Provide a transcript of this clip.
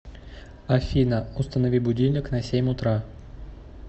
афина установи будильник на семь утра